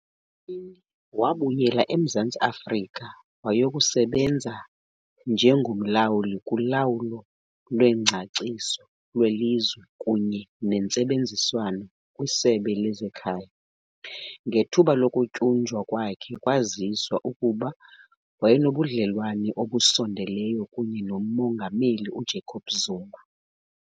Ngo-2014 wabuyela eMzantsi Afrika wayokusebenza njengomlawuli kulawulo lwengcaciso lwelizwe kunye nentsebenziswano kwiSebe lezeKhaya. Ngethuba lokutyunjwa kwakhe kwaziswa ukuba wayenobudlelwane obusondeleyo kunye noMongameli uJacob Zuma.